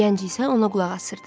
Gənc isə ona qulaq asırdı.